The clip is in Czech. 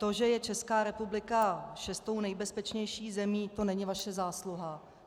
To, že je Česká republika šestou nejbezpečnější zemí, to není vaše zásluha.